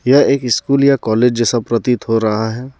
यह एक स्कूल या कॉलेज जैसा प्रतीत हो रहा हे.